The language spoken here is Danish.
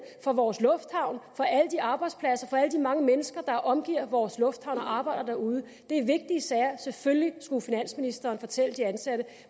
for vores lufthavn for alle de arbejdspladser og for alle de mange mennesker der omgiver vores lufthavn og arbejder derude det er vigtige sager selvfølgelig skulle finansministeren fortælle de ansatte